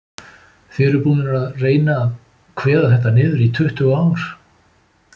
Þið eruð búnir að vera reyna að kveða þetta niður í tuttugu ár?